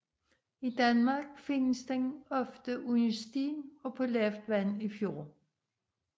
I Danmark findes den ofte under sten på lavt vand i fjorde